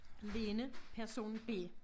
Lene person B